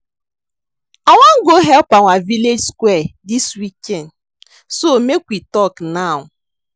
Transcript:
I wan go help clean our village square dis weekend so make we talk now